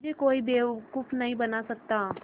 मुझे कोई बेवकूफ़ नहीं बना सकता